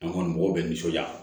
An kɔni mɔgɔw bɛ nisɔndiya